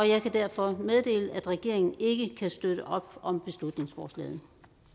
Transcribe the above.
jeg kan derfor meddele at regeringen ikke kan støtte op om beslutningsforslaget